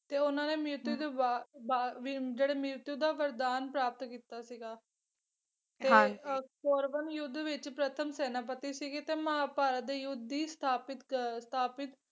ਤੇ ਉਹਨਾਂ ਦੇ ਮ੍ਰਿਤ ਤੋਂ ਬਾ ਬਾਅਦ ਜਿਹੜਾ ਮ੍ਰਿਤ ਦਾ ਵਰਦਾਨ ਪ੍ਰਾਪਤ ਕੀਤਾ ਸੀਗਾ ਤੇ ਕੌਰਵਾਂ ਦੇ ਯੁੱਧ ਵਿੱਚ ਪ੍ਰਥਮ ਸੈਨਾਪਤੀ ਸੀਗੇ ਤੇ ਮਹਾਂਭਾਰਤ ਦੇ ਯੁੱਧ ਦੀ ਸਥਾਪਿਤ ਅਹ ਸਥਾਪਿਤ,